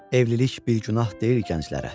Evlilik bir günah deyil gənclərə.